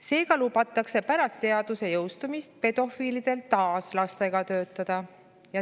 Seega, pärast seaduse jõustumist lubatakse pedofiilidel taas lastega töötada.